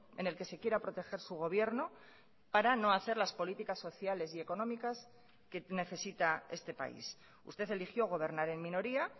en el que se quiera proteger su gobierno para no hacer las políticas sociales y económicas que necesita este país usted eligió gobernar en minoría